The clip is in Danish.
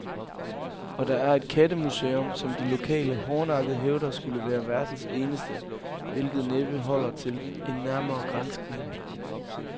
Og der er et kattemuseum, som de lokale hårdnakket hævder skulle være verdens eneste, hvilket næppe holder til en nærmere granskning.